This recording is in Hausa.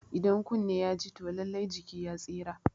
Idan kunne ya ji toh lallai jiki ya tsira